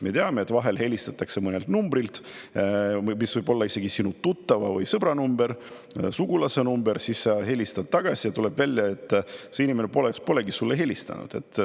Me teame, et vahel helistatakse mõnelt numbrilt, mis võib olla isegi sinu tuttava või sõbra number, sugulase number, siis sa helistad tagasi ja tuleb välja, et see inimene polegi sulle helistanud.